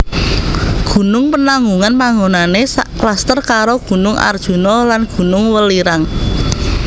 Gunung Penanggungan panggonané sakluster karo Gunung Arjuno lan Gunung Welirang